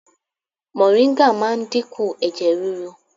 Moringa máa ń dínkù ẹ̀jẹ̀ rírú.